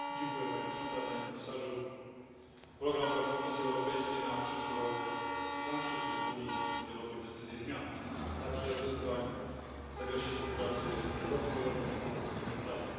Pani Przewodnicząca! Panie Komisarzu! Program prac Komisji Europejskiej na przyszły rok, który dla nas wszystkich w Unii będzie rokiem decyzji, zmian, a także wyzwań w zakresie współpracy rozwojowej i pomocy humanitarnej.